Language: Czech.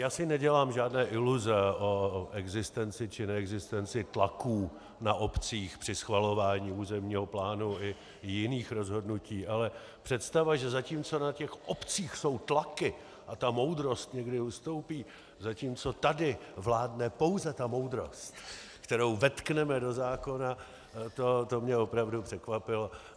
Já si nedělám žádné iluze o existenci či neexistenci tlaků na obcích při schvalování územního plánu i jiných rozhodnutí, ale představa, že zatímco na těch obcích jsou tlaky a ta moudrost někdy ustoupí, zatímco tady vládne pouze ta moudrost, kterou vetkneme do zákona, to mě opravdu překvapilo.